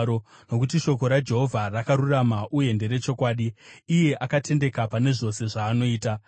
Nokuti shoko raJehovha rakarurama uye nderechokwadi; iye akatendeka pane zvose zvaanoita.